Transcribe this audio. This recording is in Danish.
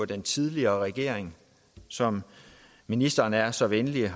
den tidligere regering som ministeren er så venlig